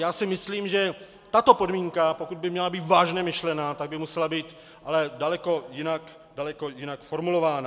Já si myslím, že tato podmínka, pokud by měla být vážně myšlena, tak by musela být ale daleko jinak formulována.